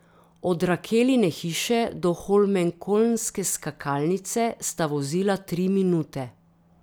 Od Rakeline hiše do holmenkollnske skakalnice sta vozila tri minute.